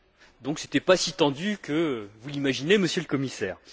Ce n'était, donc, pas si tendu que vous l'imaginez, Monsieur le Commissaire.